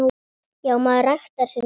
Já, maður ræktar sinn garð.